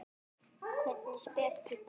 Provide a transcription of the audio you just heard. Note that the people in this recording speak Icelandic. Hvernig spes týpa?